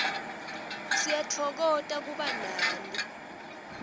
siyatfokota kuba nani